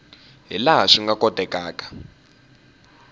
hi laha swi nga kotekaka